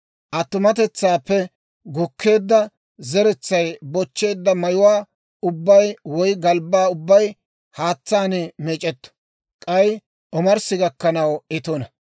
Attumatetsaappe gukkeedda zeretsay bochcheedda mayuwaa ubbay woy galbbaa ubbay haatsaan meec'etto; k'ay omarssi gakkanaw I tuna.